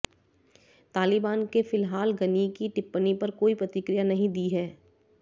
तालिबान के फिलहाल गनी की टिप्पणी पर कोई प्रतिक्रिया नहीं दी है